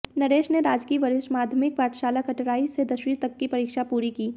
नरेश ने राजकीय वरिष्ठ माध्यमिक पाठशाला कटराईं से दसवीं तक की पढ़ाई पूरी की